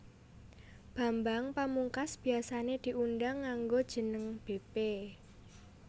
Bambang Pamungkas biasané diundang nganggo jeneng bépé